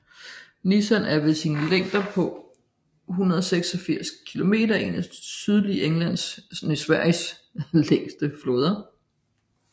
Nissan er ved sin længde på 186 km en af det sydlige Sveriges længste floder